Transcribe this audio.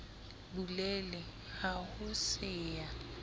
bulele ha ho se ya